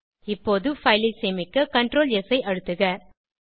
இப்போது பைல் ஐ சேமிக்க CtrlS ஐ அழுத்துக